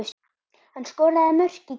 Hann skoraði mörk í gær.